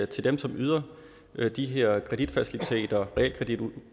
til dem som yder de her kreditfaciliteter realkreditudlån